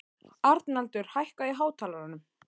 Arnaldur, hækkaðu í hátalaranum.